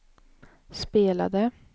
spelade